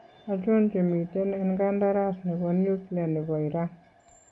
Achon chemiten en kandaras nebo nuklia nebo Iran?